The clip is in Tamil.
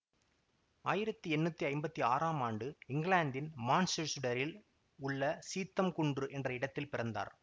ஆயிரத்தி எண்ணூத்தி ஐம்பத்தி ஆறாம் ஆண்டு இங்கிலாந்தின் மான்செசுடரில் உள்ள சீத்தம் குன்று என்ற இடத்தில் பிறந்தார்